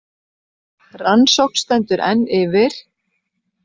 Rannsókn stendur enn yfir